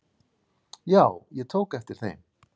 Já, ég tók eftir þeim.